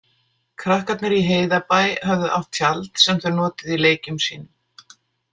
Krakkarnir í Heiðabæ höfðu átt tjald sem þau notuðu í leikjum sínum.